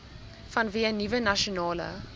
vanweë nuwe nasionale